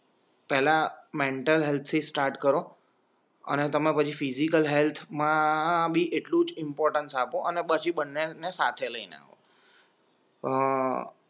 પહેલા મેન્ટલ હેલ્થથી સ્ટાર્ટ કરો અને તમે પછી ફિઝિકલ હેલ્થમાં બી એટલું જ ઇમ્પોર્ટન્સ આપો અને પછી બંનેને સાથે લઈને આવો